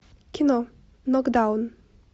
кино нокдаун